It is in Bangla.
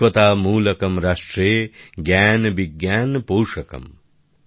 একতা মুলকম রাষ্ট্রে জ্ঞান বিজ্ঞান পোষকম